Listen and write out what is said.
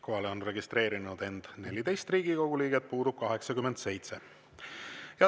Kohalolijaks on end registreerinud 14 Riigikogu liiget, puudub 87.